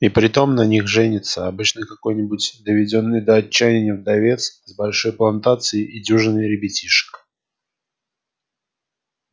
и притом на них женится обычно какой-нибудь доведённый до отчаяния вдовец с большой плантацией и дюжиной ребятишек